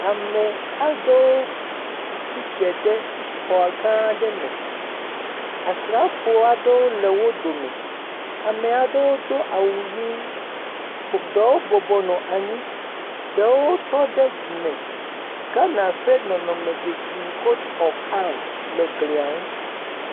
Ame aɖewo tsi tre ɖe xɔ gã aɖe me, asrafowo aɖewo le wo dome, ame aɖewo do awu ʋɛ̃, ɖewo bɔbɔ nɔ anyi, ɖewo trɔ ɖe dzi me. Gana ƒe nɔnɔme dzesi kot ɔf am le glia ŋu.